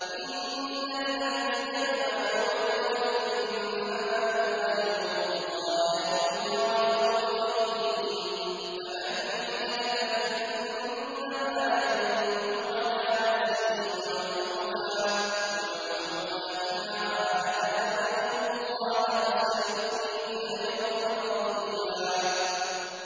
إِنَّ الَّذِينَ يُبَايِعُونَكَ إِنَّمَا يُبَايِعُونَ اللَّهَ يَدُ اللَّهِ فَوْقَ أَيْدِيهِمْ ۚ فَمَن نَّكَثَ فَإِنَّمَا يَنكُثُ عَلَىٰ نَفْسِهِ ۖ وَمَنْ أَوْفَىٰ بِمَا عَاهَدَ عَلَيْهُ اللَّهَ فَسَيُؤْتِيهِ أَجْرًا عَظِيمًا